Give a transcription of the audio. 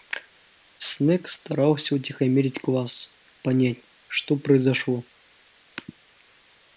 снэк старался утихомирить класс понять что произошло